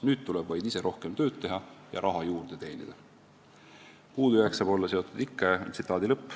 Nüüd tuleb vaid ise rohkem tööd teha ja raha juurde teenida.